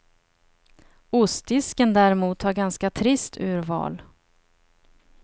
Ostdisken däremot har ganska trist urval.